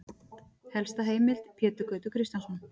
Helsta heimild: Pétur Gautur Kristjánsson.